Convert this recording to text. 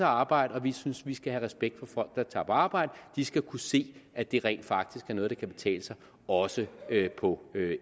arbejde og vi synes man skal have respekt for folk der tager på arbejde de skal kunne se at det rent faktisk er noget der kan betale sig også hvad angår